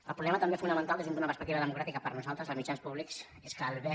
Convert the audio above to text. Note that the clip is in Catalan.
el problema també fonamental des d’una perspectiva democràtica per a nosaltres als mitjans públics és que el bé